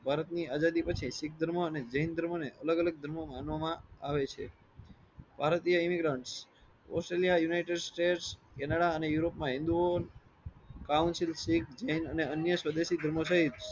ભારત ની આઝાદી પછી શીખ ધર્મ અને જૈન ધર્મ ને અલગ અલગ ધર્મ માં માનવામાં આવે છે ભારતીય immigrants Australia, United States, Canada અને યુરોપમાં એ હિંદુઓ એક જૈન અને અન્ય સદસી ધર્મો થઈન.